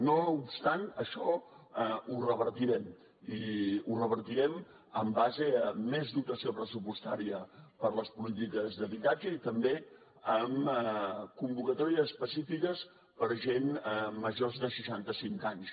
no obstant això ho revertirem i ho revertirem en base a més dotació pressupostària per a les polítiques d’habitatge i també amb convocatòries específiques per a gent major de seixanta cinc anys